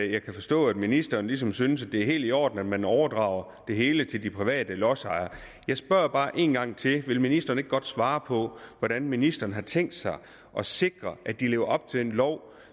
jeg kan forstå at ministeren ligesom synes at det er helt i orden at man overdrager det hele til de private lodsejere jeg spørger bare en gang til vil ministeren ikke godt svare på hvordan ministeren har tænkt sig at sikre at de lever op til den lov